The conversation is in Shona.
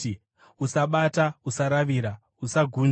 “Usabata! Usaravira! Usagunzva!”?